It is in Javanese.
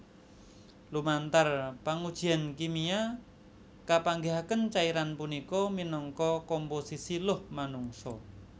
Lumantar pangujian kimia kapanggihaken cairan punika minangka komposisi luh manungsa